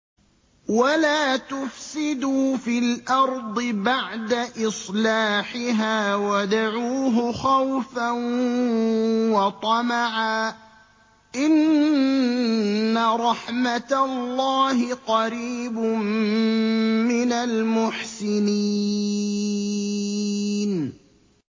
وَلَا تُفْسِدُوا فِي الْأَرْضِ بَعْدَ إِصْلَاحِهَا وَادْعُوهُ خَوْفًا وَطَمَعًا ۚ إِنَّ رَحْمَتَ اللَّهِ قَرِيبٌ مِّنَ الْمُحْسِنِينَ